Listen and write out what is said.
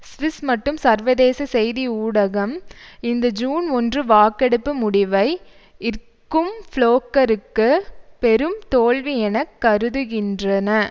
Swiss மட்டும் சர்வதேச செய்தி ஊடகம் இந்த ஜூன் ஒன்று வாக்கெடுப்பு முடிவை இற்கும் ஃப்ளோக்கருக்கு பெரும் தோல்வி என கருதுகின்றன